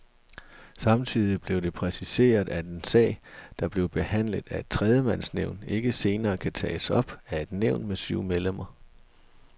Samtidig blev det præciseret, at en sag, der blev behandlet af et tremandsnævn ikke senere kan tages op af et nævn med syv medlemmer.